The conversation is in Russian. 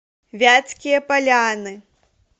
вятские поляны